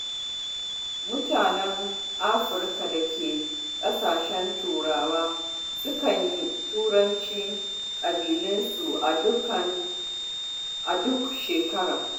Mutanen Afirka da ke ƙasashen Turawa sukan yi tarukan ƙabilunsu a duk shekara.